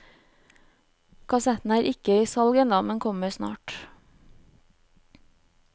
Kassetten er ikke i salg enda, men kommer snart.